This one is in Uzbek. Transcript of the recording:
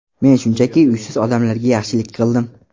Men shunchaki, uysiz odamlarga yaxshilik qildim.